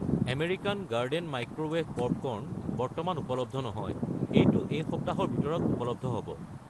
American Garden microwave popcorn বৰ্তমান উপলব্ধ নহয়, এইটো এই সপ্তাহৰ ভিতৰত ঊপলব্ধ হ'ব।